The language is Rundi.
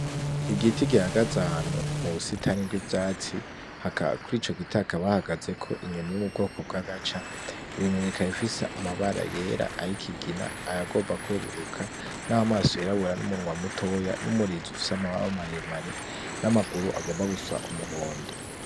Igiti gihagaze ahantu mubusitani bwivyatsi kuri ico giti hakaba hahagazeko inyoni yo mubwoko bwagaca iyo nyoni ikaba ifise amabara yera ayikigina ayagomba kweruruka namaso yirabura numunwa mutoya numurizo ufise amababa maremare namaguru agomba gusa umuhondo